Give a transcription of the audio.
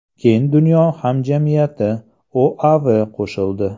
Keyin dunyo hamjamiyati, OAV qo‘shildi.